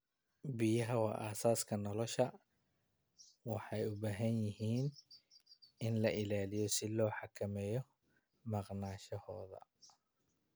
Biyaha waa aasaaska nolosha, waxayna u baahan yihiin in la ilaaliyo si loo xakameeyo maqnaanshahooda.